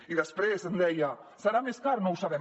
i després em deia serà més car no ho sabem